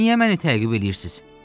Niyə məni təqib eləyirsiz?